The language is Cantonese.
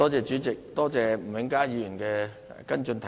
主席，多謝吳永嘉議員的補充質詢。